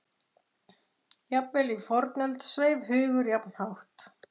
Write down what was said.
Jafnvel í fornöld sveif hugur jafn hátt.